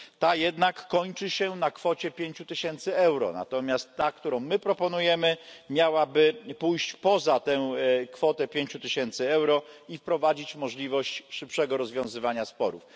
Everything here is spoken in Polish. Ta jednak kończy się na kwocie pięciu tysięcy euro, natomiast ta, którą my proponujemy, miałaby pójść poza tą kwotę pięciu tysięcy euro i wprowadzić możliwość szybszego rozwiązywania sporów.